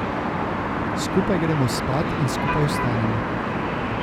Skupaj gremo spat in skupaj vstanemo.